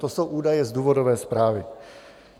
To jsou údaje z důvodové zprávy.